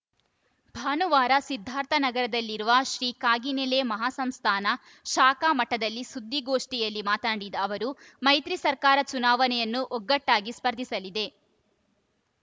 ಭಾನುವಾರ ಸಿದ್ದಾರ್ಥನಗರದಲ್ಲಿರುವ ಶ್ರೀ ಕಾಗಿನೆಲೆ ಮಹಾಸಂಸ್ಥಾನ ಶಾಖಾ ಮಠದಲ್ಲಿ ಸುದ್ದಿಗೋಷ್ಠಿಯಲ್ಲಿ ಮಾತನಾಡಿದ ಅವರು ಮೈತ್ರಿ ಸರ್ಕಾರ ಚುನಾವಣೆಯನ್ನು ಒಗ್ಗಟ್ಟಾಗಿ ಸ್ಪರ್ಧಿಸಲಿದೆ